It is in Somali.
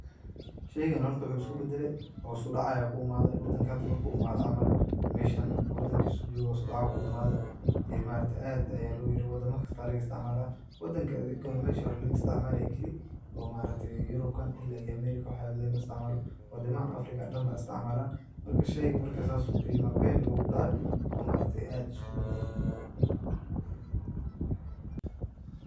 Shaygan horta waxu isku badale hos u dac aya ku imaade wadanka hada marku imada camal meshan wadankisu joge hos u dac aya ku imaaday ee ma aragte aad aya loyare wadama kasta laga isticmala wadanka adi meshi hore laga isticmalaye kali oo ma aragte yurubkan ila iyo amerika waxeeda lagama isticmala wadamaha afrika dan baa isticmaalan marka shayga sas ayu qayma bel ogu dece oo ma argte aad isku badale.